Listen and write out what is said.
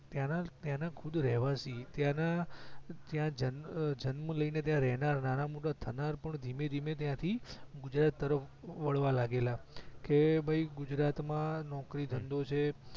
ત્યાં ત્યાં ના ખુદ રહેવાશી ત્યાંના જન્મ લઈને ત્યાં રહેનાર નાના મોટા સ્થનાર ધીમે ધીમે ત્યાંથી ગુજરાત તરફ વળવા લાગેલા કે ભઈ ગુજરાત મા નોકરી ધંધો છે